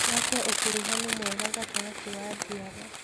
Tũake ũkuruhanu mwega gatagatĩ wa njiaro.